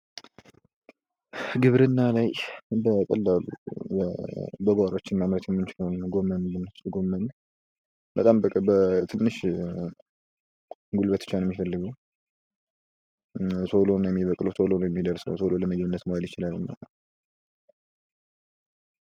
ግብርና ላይ በቀላሉ በጓሯችን ማምረት የምንችለዉ ጎመንን ብንወስድ ጎመን በጣም በትንሽ ጉልበት ብቻ ነዉ የሚፈልገዉ ቶሎ ነዉ የሚበቅለዉ ቶሎ ነዉ የሚደርሰዉ ቶሎ ለምግብነት መዋል ይችላል።